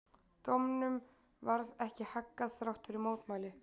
Dómnum varð ekki haggað þrátt fyrir mótmæli.